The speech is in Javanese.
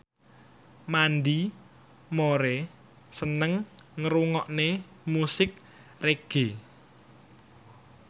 Mandy Moore seneng ngrungokne musik reggae